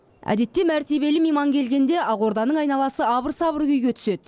әдетте мәртебелі мейман келгенде ақорданың айналасы абыр сабыр күйге түседі